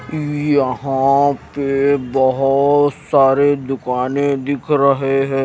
यहां पे बहुत सारे दुकानें दिख रहे हैं।